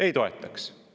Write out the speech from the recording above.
Ei toetaks.